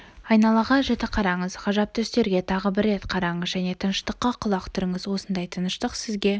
айналаға жіті қараңыз ғажап түстерге тағы бір рет қараңыз және тыныштыққа құлақ түріңіз осындай тыныштық сізге